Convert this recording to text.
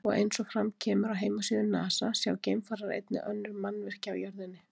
Og eins og fram kemur á heimasíðu Nasa sjá geimfarar einnig önnur mannvirki á jörðinni.